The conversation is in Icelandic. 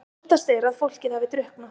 Óttast er að fólkið hafi drukknað